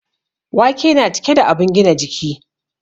Wake na cike da abun gina kiji